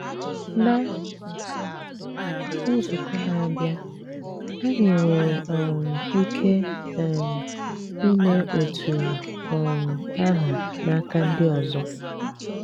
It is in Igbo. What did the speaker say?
Ná nzukọ́ na-abịá, anyị nwère um ike um ime otú um ahụ́ n’akà ndị ọzọ́.